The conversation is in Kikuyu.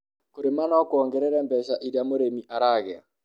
kũrĩma no kuogerere mbeca iria mũrĩmi aragĩa